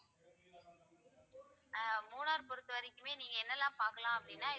ஆஹ் மூணாரை பொறுத்தவரைக்குமே நீங்க என்னெல்லாம் பார்க்கலாம் அப்படின்னா